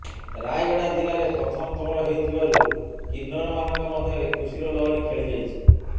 ରାୟଗଡ଼ା ଜିଲାରେ ପ୍ରଥମଥର ହେଉଥିବାରୁ କିନ୍ନରମାନଙ୍କ ମଧ୍ୟରେ ଖୁସିର ଲହରି ଖେଳିଯାଇଛି